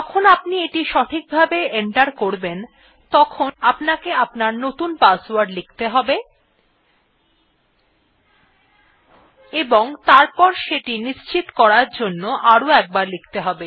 যখন আপনি এটি সঠিকভাবে এন্টার করবেন তখন আপনাকে আপনার নতুন পাসওয়ার্ড লিখতে হবে এবং তারপর সেটি নিশ্চিত করার জন্য আরো একবার লিখতে হবে